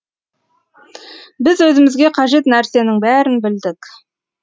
біз өзімізге қажет нәрсенің бәрін білдік